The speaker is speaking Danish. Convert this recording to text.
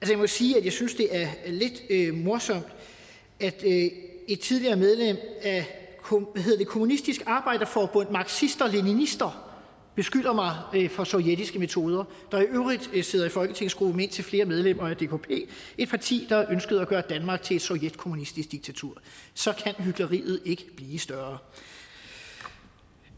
jeg må sige at jeg synes det er lidt morsomt at et tidligere medlem af kommunistisk arbejderforbund marxister leninister beskylder mig for sovjetiske metoder et der i øvrigt sidder i folketingsgruppe med indtil flere medlemmer af dkp et parti der ønskede at gøre danmark til et sovjetkommunistisk diktatur så kan hykleriet ikke blive større